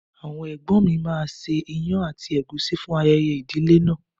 Àwọn ẹ̀gbọ́n mi máa ṣe ìyàn àti ègúsí fún ayẹyẹ ìdílé náà.